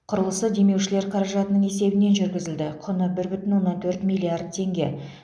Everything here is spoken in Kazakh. құрылысы демеушілер қаражатының есебінен жүргізілді құны бір бүтін оннан төрт миллиард теңге